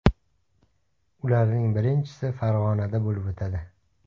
Ularning birinchisi Farg‘onada bo‘lib o‘tadi.